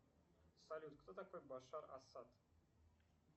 салют кто такой башар асад